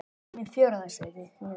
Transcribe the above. Mínar vegast ekki.